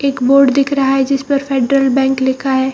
एक बोर्ड दिख रहा है जिसपर फेड्रल बैंक लिखा है।